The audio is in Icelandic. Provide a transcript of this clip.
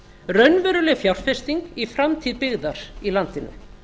raunveruleg fjárfesting í framtíð byggðar í landinu